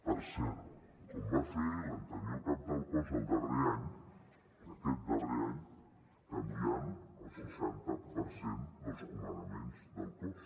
per cert com va fer l’anterior cap del cos el darrer any aquest darrer any canviant el seixanta per cent dels comandaments del cos